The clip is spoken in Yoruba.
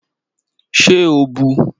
Ṣé o bu u?